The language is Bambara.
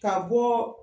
Ka bɔ